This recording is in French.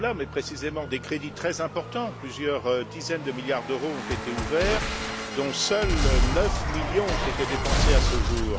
Takkula, mais, précisément, des crédits très importants, plusieurs dizaines de milliards d'euros, ont été ouverts dont seuls 9 millions ont été dépensés à ce jour.